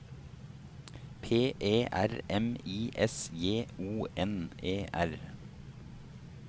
P E R M I S J O N E R